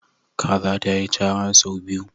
Kaza ta yi chara sau biyu.